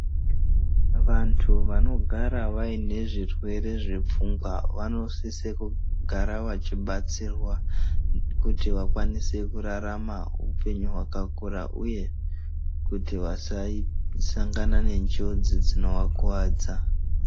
Vantu vanogara vayine zvirwere zvepfungwa, vanosise kugara vachibatsirwa kuti vakwanise kurarama upenyu wakakura, uye kuti vasasangana nenjodzi dzinowakuwadza.